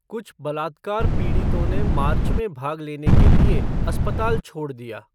कुछ बलात्कार पीड़ितों ने मार्च में भाग लेने के लिए अस्पताल छोड़ दिया।